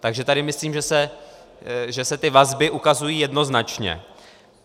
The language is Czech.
Takže tady myslím, že se ty vazby ukazují jednoznačně.